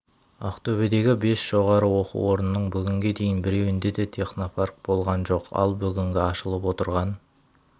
ақтөбедегі бес жоғары оқу орнының бүгінге дейін біреуінде де технопарк болған жоқ ал бүгінгі ашылып отырған